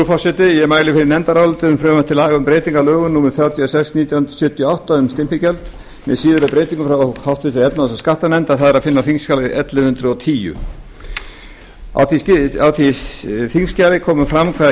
forseti ég mæli fyrir nefndaráliti um frumvarp til laga um breytingu á lögum númer þrjátíu og sex nítján hundruð sjötíu og átta um stimpilgjald með síðari breytingum frá háttvirtri efnahags og skattanefnd það er að finna á þingskjali ellefu hundruð og tíu á því þingskjali kemur fram hvaða